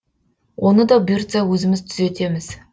оны да бұйыртса өзіміз түзетеміз